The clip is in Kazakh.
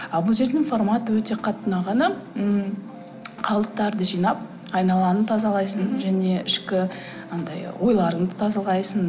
ал бұл жердің форматы өте қатты ұнағаны ммм қалдықтарды жинап айналаны тазалайсың және ішкі анадай ойларыңды тазалайсың